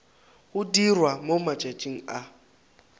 go dirwa mo matšatšing a